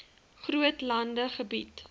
groot landelike gebied